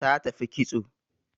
Ta tafi kitso